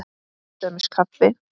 Til dæmis kaffi.